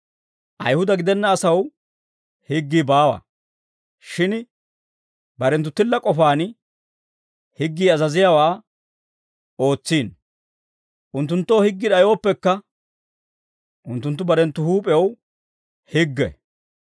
Ayihuda gidenna asaw higgii baawa; shin barenttu tilla k'ofaan higgii azaziyaawaa ootsiino; unttunttoo higgii d'ayooppekka, unttunttu barenttu huup'ew higge.